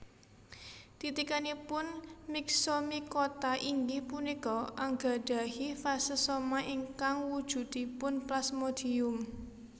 Titikanipun myxomycota inggih punika anggadhahi fase soma ingkang wujudipun plasmodium